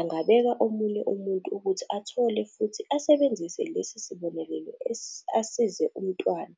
angabeka omunye umuntu ukuthi athole futhi asebenzise lesi sibonelelo asize umntwana."